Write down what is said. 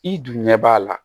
I dun ɲɛ b'a la